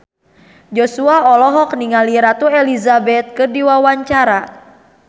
Joshua olohok ningali Ratu Elizabeth keur diwawancara